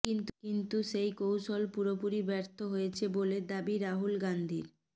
কিন্তু সেই কৌশল পুরোপুরি ব্যর্থ হয়েছে বলে দাবি রাহুল গান্ধীর